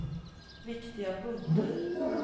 viktiga punkter